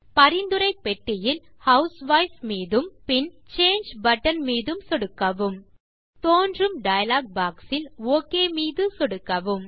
பரிந்துரை பெட்டியில் ஹவுஸ்வைஃப் மீதும் பின் சாங்கே பட்டன் மீது சொடுக்கவும் தோன்றும் டயலாக் boxஇல் ஒக் மீது சொடுக்கவும்